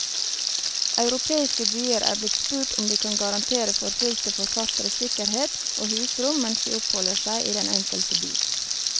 Europeiske byer er blitt spurt om de kan garantere forfulgte forfattere sikkerhet og husrom mens de oppholder seg i den enkelte by.